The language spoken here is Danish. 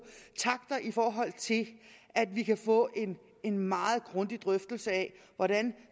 takter i forhold til at vi kan få en meget grundig drøftelse af hvordan